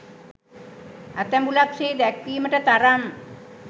ඇතැඹුලක් සේ දැක්වීමට තරම්